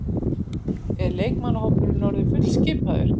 Er leikmannahópurinn orðinn fullskipaður?